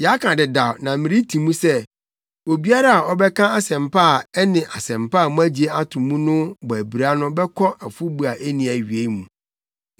Yɛaka dedaw na mereti mu sɛ: Obiara a ɔbɛka asɛmpa a ɛne Asɛmpa a moagye ato mu no bɔ abira no bɛkɔ afɔbu a enni awiei mu.